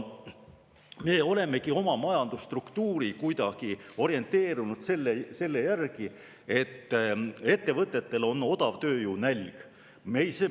Me olemegi oma majandusstruktuuri kuidagi orienteerunud selle järgi, et ettevõtetel on odavtööjõu nälg.